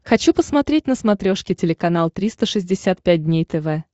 хочу посмотреть на смотрешке телеканал триста шестьдесят пять дней тв